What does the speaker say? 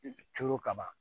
Turu ka ban